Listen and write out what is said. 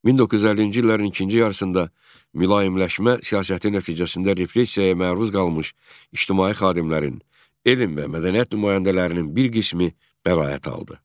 1950-ci illərin ikinci yarısında mülayimləşmə siyasəti nəticəsində repressiyaya məruz qalmış ictimai xadimlərin, elm və mədəniyyət nümayəndələrinin bir qismi bəraət aldı.